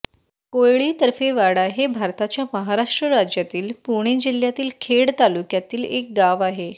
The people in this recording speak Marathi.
कोयळी तर्फे वाडा हे भारताच्या महाराष्ट्र राज्यातील पुणे जिल्ह्यातील खेड तालुक्यातील एक गाव आहे